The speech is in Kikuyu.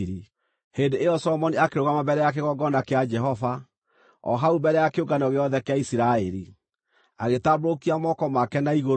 Hĩndĩ ĩyo Solomoni akĩrũgama mbere ya kĩgongona kĩa Jehova, o hau mbere ya kĩũngano gĩothe kĩa Isiraeli, agĩtambũrũkia moko make na igũrũ,